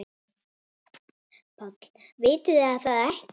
PÁLL: Vitið þið það ekki?